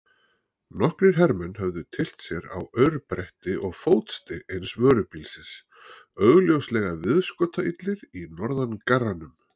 Nokkrir hermenn höfðu tyllt sér á aurbretti og fótstig eins vörubílsins, augljóslega viðskotaillir í norðangarranum.